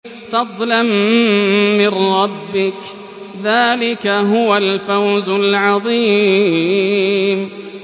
فَضْلًا مِّن رَّبِّكَ ۚ ذَٰلِكَ هُوَ الْفَوْزُ الْعَظِيمُ